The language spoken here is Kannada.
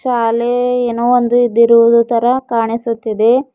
ಶಾಲೆ ಏನೋ ಒಂದು ಇದ್ದಿರುವುದು ತರ ಕಾಣಿಸುತ್ತಿದೆ.